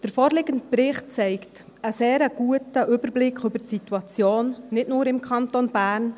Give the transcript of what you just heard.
Der vorliegende Bericht zeigt einen sehr guten Überblick über die Situation, nicht nur im Kanton Bern.